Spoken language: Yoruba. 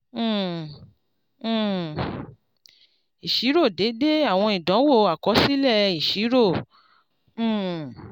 um um ìṣirò déédé ìwọ̀n ìdánwò àkọsílẹ̀ ìṣirò. um